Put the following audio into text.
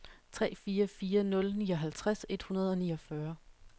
tre fire fire nul nioghalvtreds et hundrede og niogfyrre